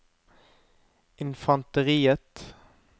infanteriet